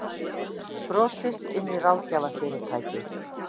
Brotist inn í ráðgjafarfyrirtæki